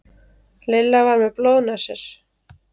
Lilla var með blóðnasir